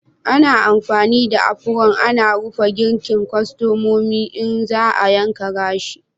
Ana amfani da apron ana rufe gikin kwastomomi in za a yanka gashi.